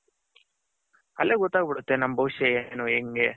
ಅಲ್ಲೇ ಗೊತ್ತಾಗ್ ಬುಡುತ್ತೆ ನಮ್ಮ ಬವಿಷ್ಯ ಏನು ಹೆಂಗೆ